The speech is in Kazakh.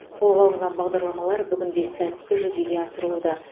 қолға алынған бағдарламалар бүгінде сәтті жүзеге асырылуда